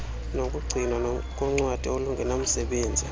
nokugcinwa koncwadi olungenamsebenzi